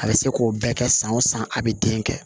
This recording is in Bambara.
A bɛ se k'o bɛɛ kɛ san o san a bɛ den kɛ